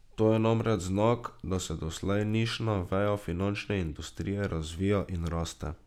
To je namreč znak, da se doslej nišna veja finančne industrije razvija in raste.